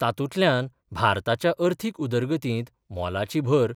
तातूंतल्यान भारताच्या अर्थीक उदरगतींत मोलाची भर